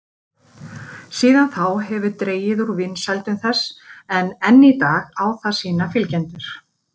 Síðan þá hefur dregið úr vinsældum þess en enn í dag á það sína fylgjendur.